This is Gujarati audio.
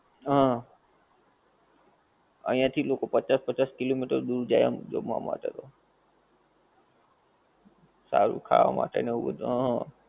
હા, અઇયા થી લોકો પચ્ચાસ પચ્ચાસ kilometer દૂર જાએ આમ જમવા માટે તો, સારું ખાવા માટે ને આવું બધું